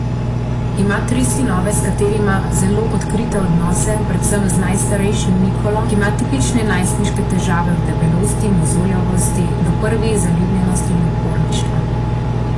Ima tri sinove, s katerimi ima zelo odkrite odnose, predvsem z najstarejšim Nikolo, ki ima tipične najstniške težave, od debelosti, mozoljavosti do prvih zaljubljenosti in uporništva.